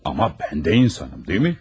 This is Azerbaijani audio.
Amma mən də insanım, deyilmi?